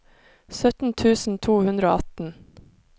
sytten tusen to hundre og atten